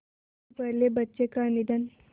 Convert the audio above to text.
उनके पहले बच्चे का निधन